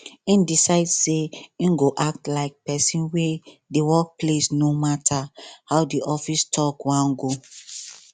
him decide say him go act like person wey dey work place no matter how the office talk wan go